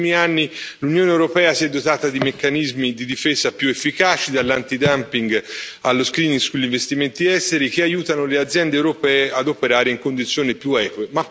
Negli ultimi anni l'Unione europea si è dotata di meccanismi di difesa più efficaci, dall' allo sugli investimenti esteri, che aiutano le aziende europee ad operare in condizioni più eque.